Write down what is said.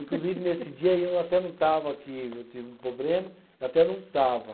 Inclusive nesse dia eu até não estava que, eu tive um problema, até não estava.